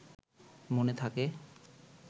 মনে থাকে